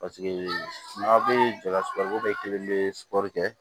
Paseke n'a bɛ jala suruba bɛɛ kelen bɛ sugɔri kɛ